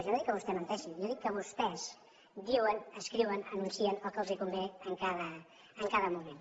jo no dic que vostè menteixi jo dic que vostès diuen escriuen anuncien el que els convé en cada moment